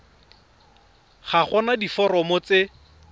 ga go na diforomo tse